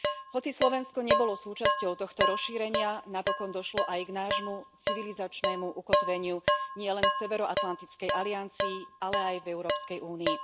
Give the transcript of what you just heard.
Hoci Slovensko nebolo súčasťou tohto rozšírenia, napokon došlo aj k nášmu civilizačnému ukotveniu nielen v severoatlantickej aliancii, ale aj v Európskej únii.